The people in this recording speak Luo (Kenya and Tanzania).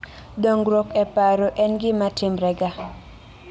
dongruok e paro en gimatimrega